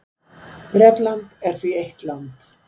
Bretland er því eitt land.